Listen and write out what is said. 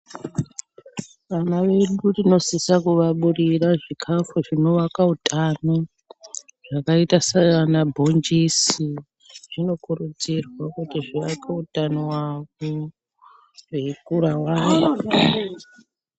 Vana vedu tinosisa kuvaburira zvikafu zvinovaka utano yakaita seyana bhonjisi zvinokurudzirwa kuti vaone hutano hwavo weikurawo.